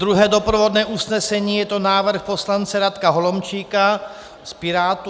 Druhé doprovodné usnesení, je to návrh poslance Radka Holomčíka od Pirátů.